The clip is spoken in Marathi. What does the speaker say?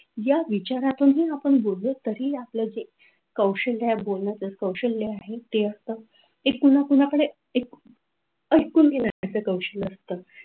या विचारातूनही आपण बोललो तरी आपलं जे कौशल्य आहे बोलण्याचा कौशल्य आहे ते असतं ते पुन्हा पुन्हा आपण आईकुन घेण्याचं कौशल्य असतं.